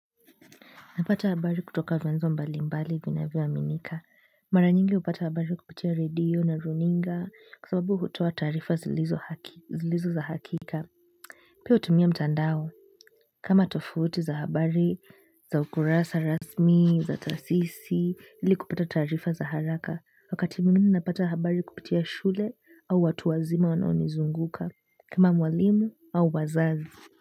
Napata habari kutoka vyanzo mbali mbali vinavyo aminika. Mara nyingi hupata habari kupitia redio na runinga kwa sababu hutoa tarifa zilizo za hakika. Pia hutumia mtandao. Kama tofauti za habari za ukurasa rasmi, za taasisi ili kupata taarifa za haraka wakati mwingine napata habari kupitia shule au watu wazima wanao nizunguka. Kama mwalimu au wazazi.